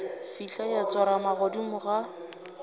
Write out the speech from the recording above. fihla ya tsorama godimo ga